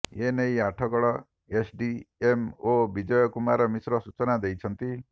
ଏନେଇ ଆଠଗଡ଼ ଏସଡିଏମଓ ବିଜୟ କୁମାର ମିଶ୍ର ସୂଚନା ଦେଇଛନ୍ତି